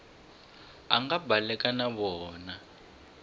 a nga baleka na vona